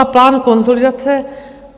A plán konsolidace?